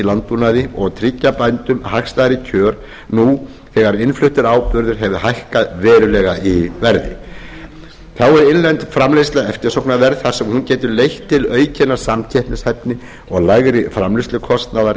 landbúnaði og tryggja bændum hagstæðari kjör nú þegar innfluttur áburður hefur hækkað verulega í verði þá er innlend framleiðsla eftirsóknarverð þar sem hún getur leitt til aukinnar samkeppnishæfni og lægri framleiðslukostnaðar